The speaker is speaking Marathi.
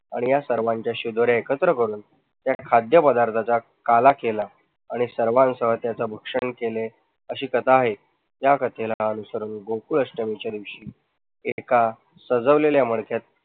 आणि या सर्वांच्या शिदोर्या एकत्र करून या खाद्य पदार्थाचा काला केला आणि सर्वांसह त्याचे भक्षण केले अशी कथा आहे. या कथेला अनुसरून गोकुळाष्टमीच्या दिवशी एका सजवलेल्या मडक्यात